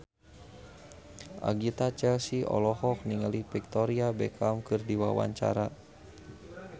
Agatha Chelsea olohok ningali Victoria Beckham keur diwawancara